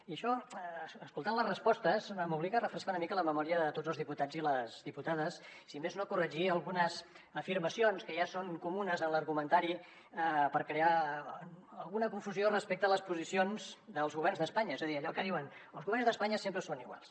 i això escoltant les respostes m’obliga a refrescar una mica la memòria a tots els diputats i les diputades si més no corregir algunes afirmacions que ja són comunes en l’argumentari per crear alguna confusió respecte a les posicions dels governs d’espanya és a dir allò que diuen els governs d’espanya sempre són iguals